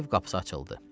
Ev qapısı açıldı.